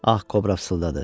Ağ Kobra fısıldadı: